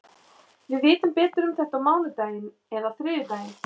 Við vitum betur um þetta á mánudaginn eða þriðjudaginn.